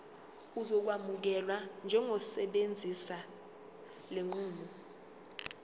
uzokwamukelwa njengosebenzisa lenqubo